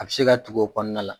A bɛ se ka tugu o kɔɔna la.